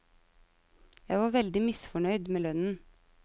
Jeg var veldig misfornøyd med lønnen.